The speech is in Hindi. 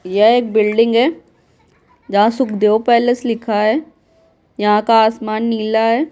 यह एक बिल्डिंग है जहाँ सुखदेव पैलेस लिखा है यहाँ का आसमान नीला है।